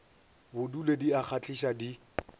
bodule di a kgahliša di